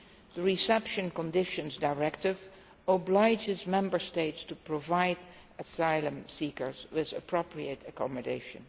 The Reception Conditions Directive obliges the Member States to provide asylum seekers with appropriate accommodation.